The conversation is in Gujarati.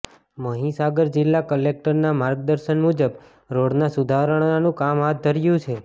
મહીસાગર જિલ્લા કલેકટરના માર્ગદર્શન મુજબ રોડના સુધારણાનું કામ હાથ ધર્યું છે